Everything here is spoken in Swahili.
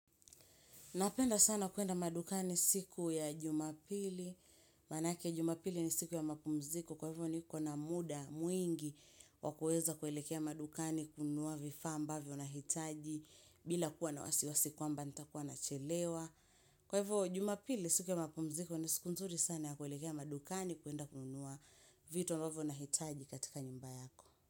Napenda sana kuenda madukani siku ya jumapili, maana ake jumapili ni siku ya mapumziko, kwa hivyo niko na muda mwingi wa kuweza kuelekea madukani kununua vifaa ambavyo nahitaji bila kuwa na wasiwasi kwamba nitachelewa Kwa hivyo jumapili siku ya mapumziko, ni siku nzuri sana ya kuelekea madukani kuenda kununua vitu ambavyo nahitaji katika nyumba yako.